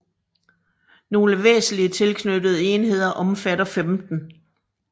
Nogle væsentlige tilknyttede enheder omfatter 15